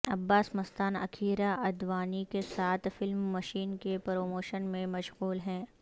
عباس مستان اکیرہ اڈوانی کے ساتھ film machine کے پروموشن میں مشغول ہیں